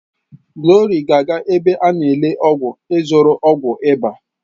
Glory ga-aga ebe a n'ele ọgwụ ịzụrụ ọgwụ ịba.